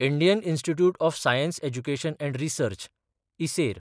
Indian institute of science education and research (इसेर)